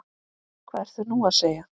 Hvað ertu nú að segja?